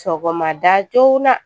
Sɔgɔma da joona